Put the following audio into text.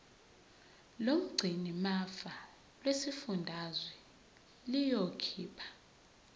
lomgcinimafa lesifundazwe liyokhipha